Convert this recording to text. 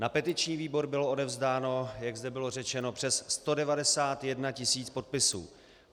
Na petiční výbor bylo odevzdáno, jak zde bylo řečeno, přes 191 000 podpisů.